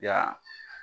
Ya